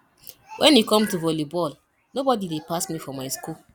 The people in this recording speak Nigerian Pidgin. wen e come to volley ball nobody dey pass me for my school